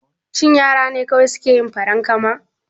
Shin yara ne kawai suke yin farankama?